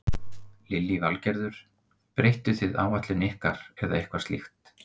Lillý Valgerður: Breyttuð þið áætlun ykkar eða eitthvað slíkt?